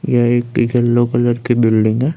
यह एक yellow colour की बिल्डिंग --